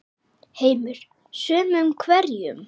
Heimir: Sumum hverjum?